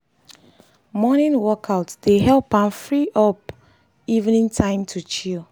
morning workout dey help am free up am free up evening time to chill.